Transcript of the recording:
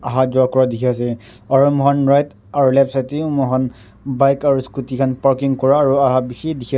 aha ja kura dikhi ase aru moi khan right aru left side te bi moi khan bike aru scooty khan parking kura aru aha bishi dikhi.